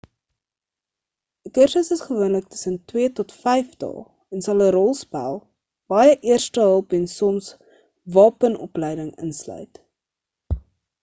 'n kursus is gewoonlik tussen 2 tot 5 dae en sal 'n rolspel baie eerstehulp en soms wapenopleiding insluit